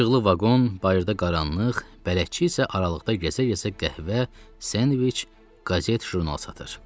İşıqlı vaqon, bayırda qaranlıq, bələdçi isə aralıqda gəzə-gəzə qəhvə, sendviç, qəzet, jurnal satır.